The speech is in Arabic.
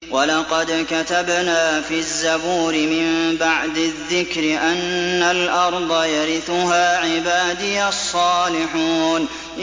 وَلَقَدْ كَتَبْنَا فِي الزَّبُورِ مِن بَعْدِ الذِّكْرِ أَنَّ الْأَرْضَ يَرِثُهَا عِبَادِيَ الصَّالِحُونَ